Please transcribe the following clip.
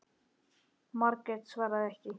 Margrét svaraði ekki.